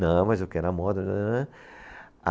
Não, mas eu quero a moto. Tãrãrã